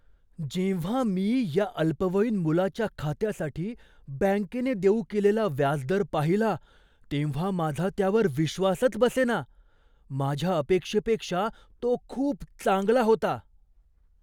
जेव्हा मी या अल्पवयीन मुलाच्या खात्यासाठी बँकेने देऊ केलेला व्याजदर पाहिला तेव्हा माझा त्यावर विश्वासच बसेना! माझ्या अपेक्षेपेक्षा तो खूप चांगला होता.